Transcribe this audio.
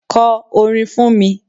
Ko orin fún mi.